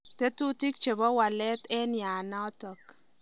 Tetutik chebo waleet eng yaanatak.